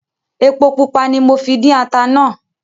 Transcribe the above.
Epo pupa ní mọ fí dín ata náà